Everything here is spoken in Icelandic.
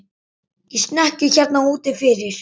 Í snekkju hérna úti fyrir!